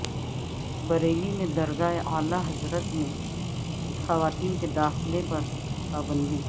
بریلی میں درگاہ اعلی حضرت میں خواتین کے داخلے پر پابندی